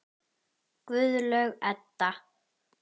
Fundu Súmerar upp hjólið?